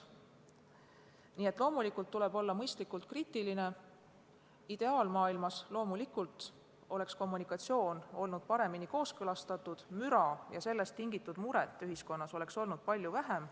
Nii et loomulikult tuleb olla mõistlikult kriitiline, loomulikult oleks ideaalmaailmas olnud kommunikatsioon paremini kooskõlastatud, müra ja sellest tingitud muret oleks ühiskonnas olnud palju vähem.